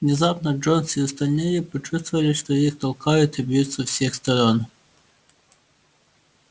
внезапно джонс и остальные почувствовали что их толкают и бьют со всех сторон